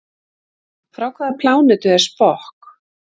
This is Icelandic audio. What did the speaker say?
Frá hvaða plánetu er Spock?